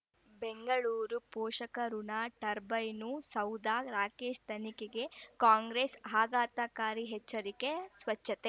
ಬೆಂಗಳೂರು ಪೋಷಕಋಣ ಟರ್ಬೈನು ಸೌಧ ರಾಕೇಶ್ ತನಿಖೆಗೆ ಕಾಂಗ್ರೆಸ್ ಆಘಾತಕಾರಿ ಎಚ್ಚರಿಕೆ ಸ್ವಚ್ಛತೆ